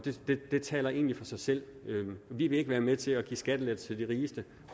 det taler egentlig for sig selv vi vil ikke være med til at give skattelettelser til de rigeste